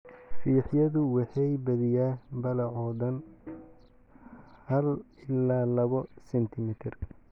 Fiixyadu waxay badiyaa ballacoodaan haal ilaa laabo sentimitir.